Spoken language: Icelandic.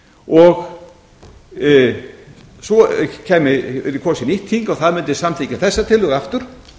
og svo yrði kosið nýtt þing og það mundi samþykkja þessa tillögu aftur